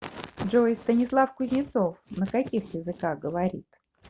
джой станислав кузнецов на каких языках говорит